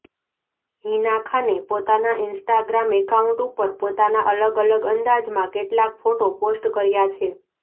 હિના ખાને પોતાના Instagram account ઉપર પોતાના અલગ અલગ અંદાજમાં કેટલાક ફોટો પોસ્ટ કર્યા છે